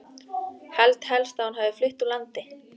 Held helst að hún hafi flutt úr landi.